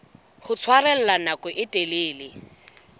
ho tshwarella nako e telele